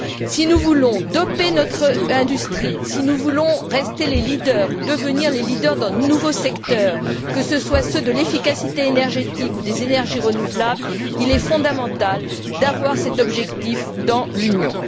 Si nous voulons doper notre industrie, si nous voulons rester les leaders ou devenir les leaders dans de nouveaux secteurs, que ce soit ceux de l'efficacité énergétique ou des énergies renouvelables, il est fondamental d'avoir cet objectif dans l'Union.